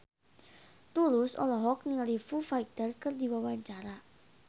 Tulus olohok ningali Foo Fighter keur diwawancara